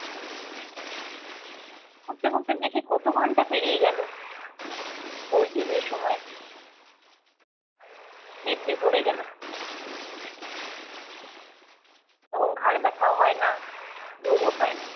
পড়তে পড়তে দেখি কত ঘন্টা পেরিয়ে গেল। খোঁজই নেই সময়ের। দিব্যি পড়ে গেলাম। তখন ঘাড় ব্যাথাও হয় না, ঘুমও পায় না।